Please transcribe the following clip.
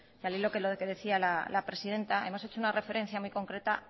y al hilo de lo que decía la presidenta hemos hecho una referencia muy concreta